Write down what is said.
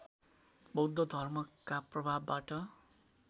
बौद्ध धर्मका प्रभावबाट